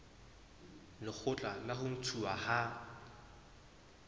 lekgotla la ho ntshuwa ha